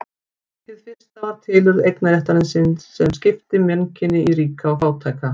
Hið fyrsta var tilurð eignarréttarins sem skipti mannkyni í ríka og fátæka.